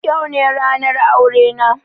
Yau ne ranar aurena.